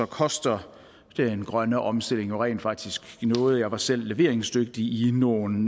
koster den grønne omstilling rent faktisk noget jeg var selv leveringsdygtig i nogle